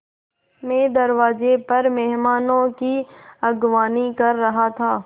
मैं दरवाज़े पर मेहमानों की अगवानी कर रहा था